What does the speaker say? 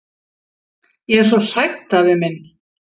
Ég er svo hrædd afi minn!